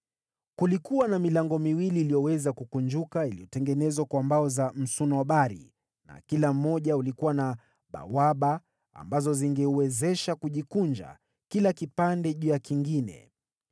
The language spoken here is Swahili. Kulikuwa na milango miwili iliyoweza kukunjuka iliyotengenezwa kwa mbao za msunobari na kila mmoja ulikuwa na bawaba ambazo zingeuwezesha kujikunja kila kipande juu ya kingine.